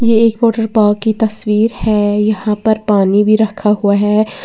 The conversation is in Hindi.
एक वाटर पार्क की तस्वीर है यहां पर पानी भी रखा हुआ है।